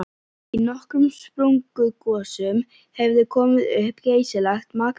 Í nokkrum sprungugosum hefur komið upp geysilegt magn af hrauni.